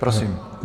Prosím.